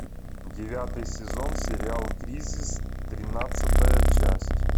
девятый сезон сериал кризис тринадцатая часть